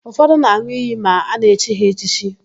Ụfọdụ na-an̄ụ iyi ma a na-echi ha echichi.